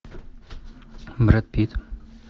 брэд питт